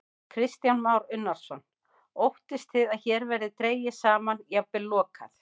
Kristján Már Unnarsson: Óttist þið að hér verði dregið saman, jafnvel lokað?